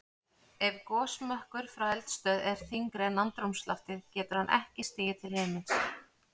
Ef gosmökkur frá eldstöð er þyngri en andrúmsloftið getur hann ekki stigið til himins.